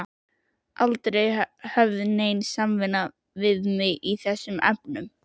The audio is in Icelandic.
Aldrei var höfð nein samvinna við mig í þessum efnum.